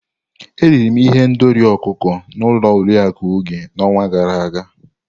Eriri m ihendori ọkụkọ n'ụlọ Oriakụ Oge n'ọnwa gara aga.